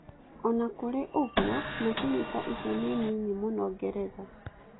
O na kũrĩ ũguo, macini ta icio nĩ nini mũno Ngeretha.